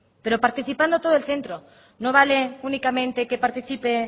pero participando todo el centro no vale únicamente que participe